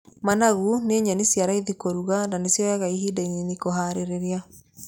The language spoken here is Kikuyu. Managu ni nyeni cia raithi kũruga na cionyaga ihinda inini kũharĩria.